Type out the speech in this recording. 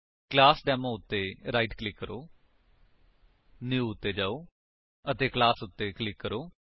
class demo ਉੱਤੇ right click ਕਰੋ new ਉੱਤੇ ਜਾਓ ਅਤੇ ਕਲਾਸ ਉੱਤੇ ਕਲਿਕ ਕਰੋ